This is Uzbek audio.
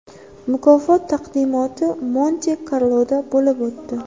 Mukofot taqdimoti Monte-Karloda bo‘lib o‘tdi.